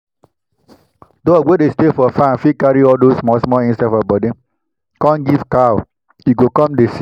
dog wey dey stay for farm fit carry all those small small insect for body come go give cow e go come dey sick